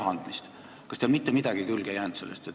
Kas teile ei jäänud sellest mitte midagi külge?